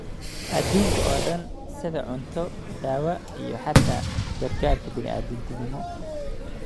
adduunka oo dhan sida cunto, daawo, iyo xitaa gargaarka bini'aadantinimo